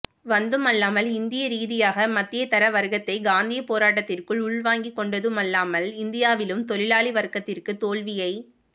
வந்துமல்லாமல் இந்தியரீதியாக மத்தியதரவர்கத்தை காந்திய போராட்டத்திற்குள் உள்வாங்கிகொண்டதுமல்லாமல் இந்தியாவிலும் தொழிலாளிவர்கத்திற்கு தோல்வியைக்